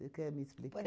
Você quer me explicar? Por